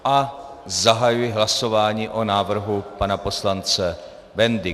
A zahajuji hlasování o návrhu pana poslance Bendy.